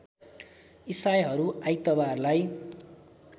इसाईहरू आइतबारलाई